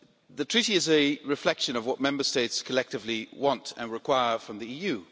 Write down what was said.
The Treaty is a reflection of what Member States collectively want and require from the EU.